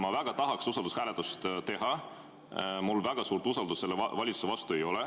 Ma väga tahaksin usaldushääletust teha, mul väga suurt usaldust selle valitsuse vastu ei ole.